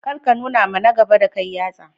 Kar ka nunawa na gaba da kai yatsa.